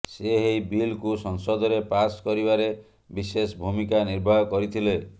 ସେ ଏହି ବିଲକୁ ସଂସଦରେ ପାସ୍ କରିବାରେ ବିଶେଷ ଭୂମିକା ନିର୍ବାହ କରିଥିଲେ